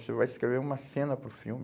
Você vai escrever uma cena para o filme.